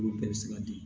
Olu bɛɛ bɛ se ka di